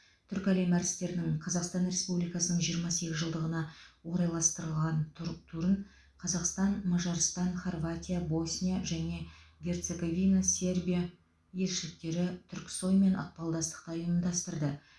түркі әлемі әртістерінің қазақстан республикасының жиырма сегізінші жылдығына орайластырылған тур турын қазақстан мажарстан хорватия босния және герцоговина сербия елшіліктері түрксой мен ықпалдастықта ұйымдастырды